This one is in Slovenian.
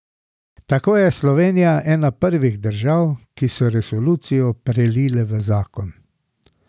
Tako je Slovenija ena prvih držav, ki so resolucijo prelile v zakon.